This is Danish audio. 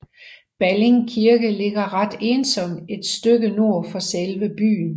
Balling Kirke ligger ret ensomt et stykke nord for selve byen